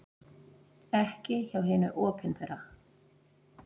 Ekki hjá hinu opinbera.